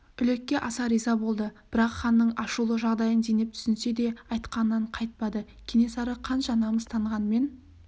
үлекке аса риза болды бірақ ханның ашулы жағдайын зейнеп түсінсе де айтқанынан қайтпады кенесары қанша намыстанғанмен